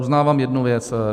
Uznávám jednu věc.